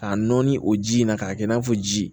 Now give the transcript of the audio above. K'a nɔɔni o ji in na k'a kɛ i n'a fɔ ji